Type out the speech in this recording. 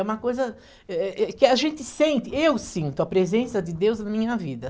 É uma coisa eh eh eh que a gente sente, eu sinto a presença de Deus minha vida.